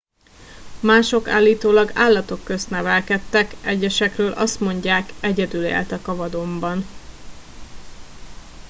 mások állítólag állatok közt nevelkedtek egyesekről azt mondják egyedül éltek a vadonban